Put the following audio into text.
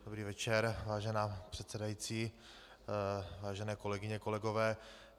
Dobrý večer, vážená předsedající, vážené kolegyně, kolegové.